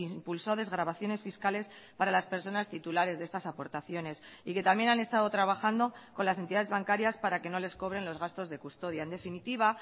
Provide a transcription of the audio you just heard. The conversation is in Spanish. impulsó desgravaciones fiscales para las personas titulares de estas aportaciones y que también han estado trabajando con las entidades bancarias para que no les cobren los gastos de custodia en definitiva